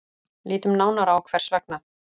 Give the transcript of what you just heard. Lítum nánar á hvers vegna.